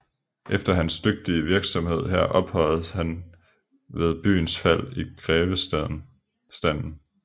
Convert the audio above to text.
Efter hans dygtige virksomhed her ophøjedes han ved byens fald i grevestanden